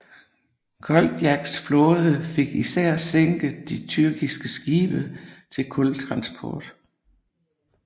Koltjaks flåde fik især sænket de tyrkiske skibe til kultransport